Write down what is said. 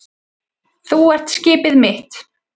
Þú ert skipið mitt.